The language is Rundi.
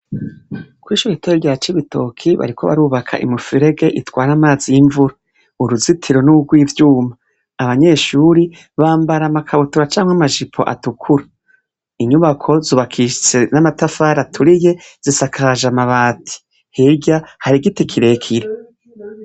Ko'ishorgitore rya cibitoki bariko barubaka imufurege itwara amazi y'imvura uruzitiro n'urwo ivyuma abanyeshuri bambara amakabutura canke amajipo atukura inyubako zubakishitse n'amatafara aturiye zisakaje amabati helya hari igiti kirekire.